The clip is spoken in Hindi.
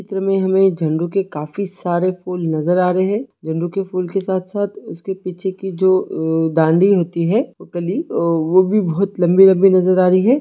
इस चित्र में हमें झंडू के काफी सारे फूल नज़र आ रहे है झंडू के फूल के साथ -साथ उसके पीछे की जो डांडी होती है ओ कली ओ भी बहुत लम्बी- लम्बी नज़र आ रही है।